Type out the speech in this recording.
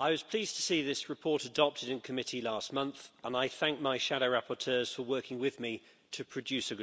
I was pleased to see this report adopted in Committee last month and I thank my shadow rapporteurs for working with me to produce a good result.